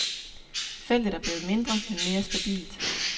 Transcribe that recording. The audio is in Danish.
Feltet er blevet mindre, men mere stabilt.